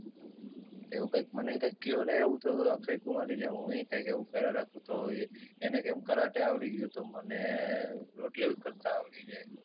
એવું ક્યાક મને ક્યાક ક્યો ને એવું તો અક્ષય કુમારની જેમ હુંય ક્યાક એવું કરા રાખું તો ઇ એને કેમ કરાટે આવડી ગયું તો મને રોટલી કરતાં આવડી જાય.